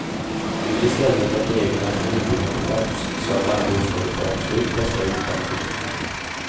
De vill i stället att reglerna för nybyggnad skärps så att alla bostäder får absolut bästa ljudkvalitet.